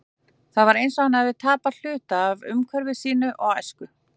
Það var eins og hann hefði tapað hluta af umhverfi sínu og æsku.